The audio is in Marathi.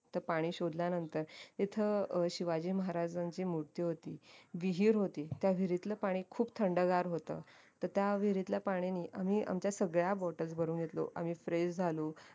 तर पाणी शोधल्यानंतर तिथे शिवाजी महाराजांची मूर्ती होती होती त्या विहिरीतलं पाणी खूप थंडगार होत तर त्या विहिरीतल्या पाण्यानी आम्ही आमच्या सगळ्या bottles भरून घेतलो आम्ही fresh झालो